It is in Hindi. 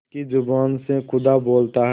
पंच की जबान से खुदा बोलता है